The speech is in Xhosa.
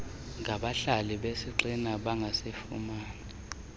ngabahlali besigxina bangazifumana